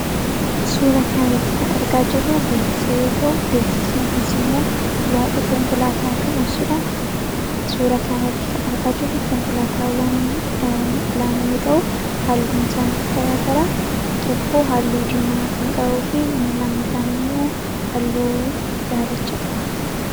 Suura kanarratti kan argaa jirru beeksisa yoo ta'u beeksisni kunis immoo waa'ee konkolaataa kan ibsuudha suura kanarratti kan argaa jirru konkolaataawwan lama yoo ta'u halluun isaanis garaa garaa tokko halluu dimaa kan qabuu fi inni lammataan immoo halluu idaalacha qaba.